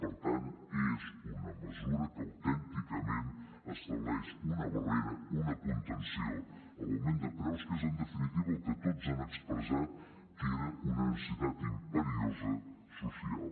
per tant és una mesura que autènticament estableix una barrera una contenció a l’augment de preus que és en definitiva el que tots han expressat que era una necessitat imperiosa social